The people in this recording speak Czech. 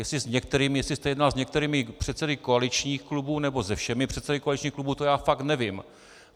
Jestli jste jednal s některými předsedy koaličních klubů nebo se všemi předsedy koaličních klubů, to já fakt nevím.